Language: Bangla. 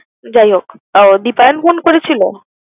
যাই হোক, আহ দিপায়ন phone করেছিলো?